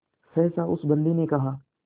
सहसा उस बंदी ने कहा